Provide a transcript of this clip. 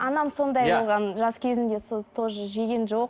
анам сондай болған жас кезінде сол тоже жеген жоқ